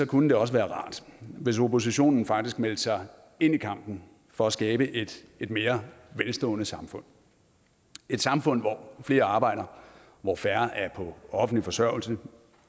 kunne det også være rart hvis oppositionen faktisk meldte sig ind i kampen for at skabe et et mere velstående samfund et samfund hvor flere arbejder hvor færre er på offentlig forsørgelse